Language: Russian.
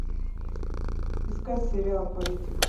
искать сериал политик